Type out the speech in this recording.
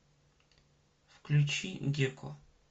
включи геко